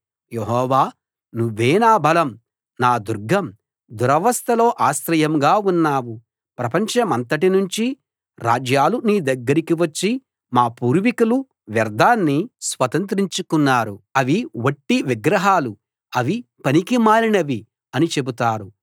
యెహోవా నువ్వే నా బలం నా దుర్గం దురవస్థలో ఆశ్రయంగా ఉన్నావు ప్రపంచమంతటి నుంచి రాజ్యాలు నీ దగ్గరికి వచ్చి మా పూర్వీకులు వ్యర్ధాన్ని స్వతంత్రించుకున్నారు అవి వట్టివి విగ్రహాలు అవి పనికిమాలినవి అని చెబుతారు